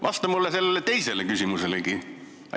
Vasta sellele teisele küsimuselegi.